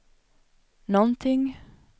någonting